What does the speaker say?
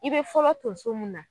I be fɔlɔ tonso mun na